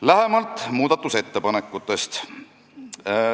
Lähemalt muudatusettepanekutest.